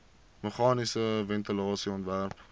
meganiese ventilasie ontwerp